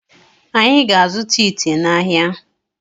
Anyị ga azụta ite n'ahia